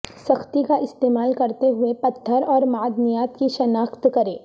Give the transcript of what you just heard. سختی کا استعمال کرتے ہوئے پتھر اور معدنیات کی شناخت کریں